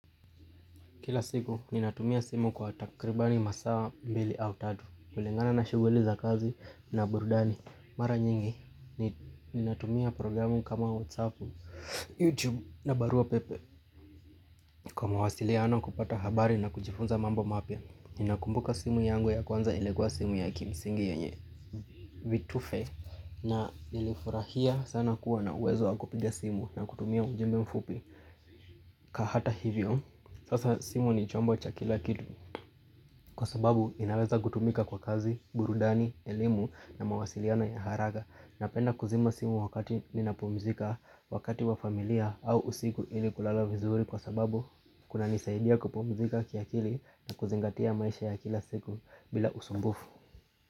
Kila siku ninatumia simu kwa takribani masaa mbili au tatu kulingana na shughuli za kazi na burudani. Mara nyingi ninatumia programu kama whatsapp, youtube na barua pepe Kwa mawasiliano, kupata habari, na kujifunza mambo mapya. Ninakumbuka simu yangu ya kwanza ilikuwa simu ya kimsingi yenye vitufe na nilifurahia sana kuwa na uwezo wa kupiga simu na kutumia ujumbe mfupi na hata hivyo, sasa simu ni chombo cha kila kitu Kwa sababu inaweza kutumika kwa kazi, burudani, elimu na mawasiliano ya haraka. Napenda kuzima simu wakati ninapumzika, wakati wa familia au usiku ili kulala vizuri kwa sababu kunanisaidia kupumzika kiakili na kuzingatia maisha ya kila siku bila usumbufu.